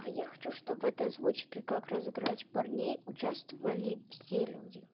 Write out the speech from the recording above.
я хочу чтобы ты озвучке как разыграть парней участвовали все